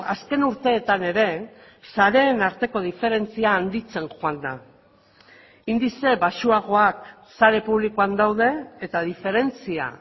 azken urteetan ere sareen arteko diferentzia handitzen joan da indize baxuagoak sare publikoan daude eta diferentzia